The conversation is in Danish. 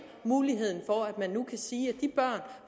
muligheden for at man nu kan sige